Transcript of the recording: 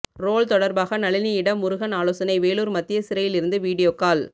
role தொடர்பாக நளினியிடம் முருகன் ஆலோசனை வேலூர் மத்திய சிறையில் இருந்து வீடியோ கால்